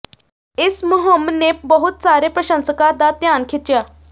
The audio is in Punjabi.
ਇਸ ਮੁਹਿੰਮ ਨੇ ਬਹੁਤ ਸਾਰੇ ਪ੍ਰਸ਼ੰਸਕਾਂ ਦਾ ਧਿਆਨ ਖਿੱਚਿਆ